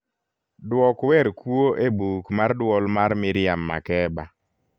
duok wer kuo e buk marduol mar miriam makeba